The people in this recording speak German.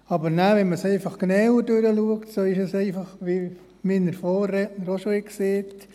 Aber wenn man es dann genauer betrachtet, so ist es einfach wie mein Vorredner auch schon gesagt hat: